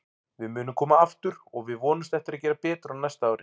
Við munum koma aftur og við vonumst eftir að gera betur á næsta ári.